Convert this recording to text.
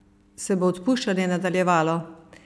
Se bo odpuščanje nadaljevalo?